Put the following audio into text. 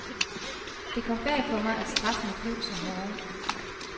Det kom bag på mig, at straffene blev så hårde.